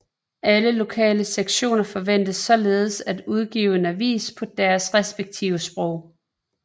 Alle lokale sektioner forventes således at udgive en avis på deres respektive sprog